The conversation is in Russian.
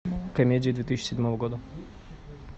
комедии две тысячи седьмого года